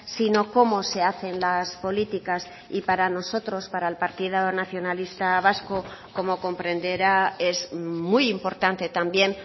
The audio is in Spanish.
sino cómo se hacen las políticas y para nosotros para el partido nacionalista vasco como comprenderá es muy importante también